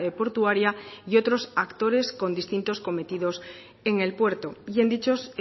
portuaria y otros actores con distintos cometidos en el puerto y en dichos